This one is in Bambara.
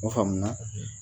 O faamu na.